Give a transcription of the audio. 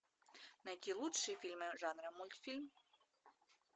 найти лучшие фильмы жанра мультфильм